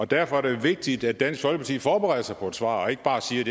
derfor er det jo vigtigt at dansk folkeparti forbereder sig på et svar og ikke bare siger